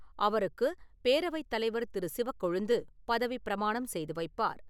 அவருக்கு பேரவைத் தலைவர் திரு. சிவக்கொழுந்து பதவி பிரமாணம் செய்து வைப்பார்.